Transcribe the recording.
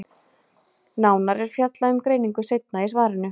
Nánar er fjallað um greiningu seinna í svarinu.